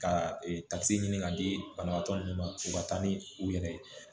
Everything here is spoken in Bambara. Ka takisi ɲini ka di banabaatɔ munnu ma u ka taa ni u yɛrɛ ye